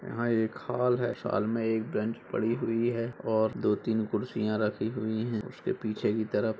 यहाँ एक हॉल है। हॉल में एक बेंच पड़ी हुई है और दो तीन कुर्सियां रखी हुई हैं उसके पीछे की तरफ़ --